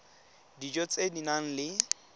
dijo tse di nang le